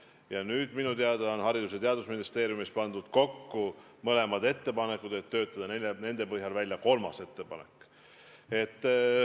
Ja nüüdseks on minu teada Haridus- ja Teadusministeeriumis mõlemad ettepanekud kokku pandud, et töötada nende põhjal välja kolmas ettepanek.